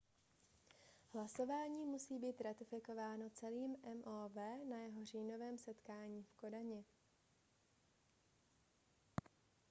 hlasování musí stále být ratifikováno celým mov na jeho říjnovém setkání v kodani